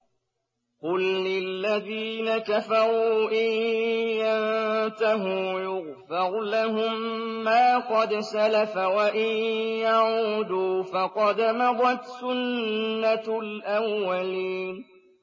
قُل لِّلَّذِينَ كَفَرُوا إِن يَنتَهُوا يُغْفَرْ لَهُم مَّا قَدْ سَلَفَ وَإِن يَعُودُوا فَقَدْ مَضَتْ سُنَّتُ الْأَوَّلِينَ